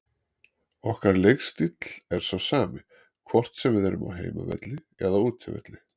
Okkar leikstíll er sá sami, hvort sem við erum á heimavelli eða útivelli.